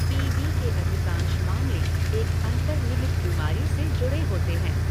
P B के अधिकांश मामले एक अंतर्निहित बीमारी से जुड़े होते हैं।